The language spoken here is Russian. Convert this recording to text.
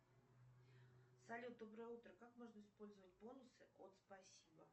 салют доброе утро как можно использовать бонусы от спасибо